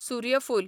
सुर्यफूल